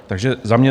Takže za mě: